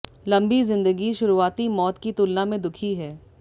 लंबी जिंदगी शुरुआती मौत की तुलना में दुखी है